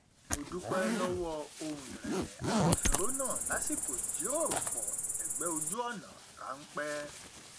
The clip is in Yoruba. mo dúpẹ lọwọ ohùn ìrẹlẹ agbófinró náà lásìkò ìjíròròpọ ẹgbẹ ojú ọnà ránpẹ